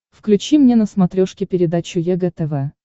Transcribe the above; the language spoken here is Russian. включи мне на смотрешке передачу егэ тв